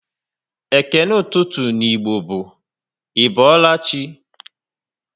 Ékélé ụtụtụ n'Igbo bụ "Ị boola chi?"